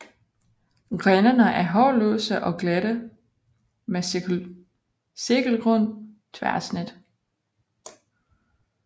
Grenene er hårløse og glatte med cirkelrundt tværsnit